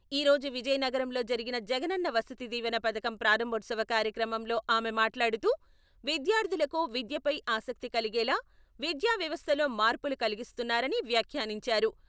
ఈ రోజు విజయనగరంలో జరిగిన జగనన్న వసతి దీవెన పథకం ప్రారంభోత్సవ కార్యక్రమంలో ఆమె మాట్లాడుతూ, విద్యార్థులకు విద్యపై ఆసక్తి కలిగేలా విద్యావ్యవస్థలో మార్పులు కలిగిస్తున్నారని వ్యాఖ్యానించారు.